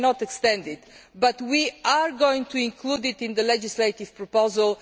end. We cannot extend it, but we are going to include it in the legislative proposal.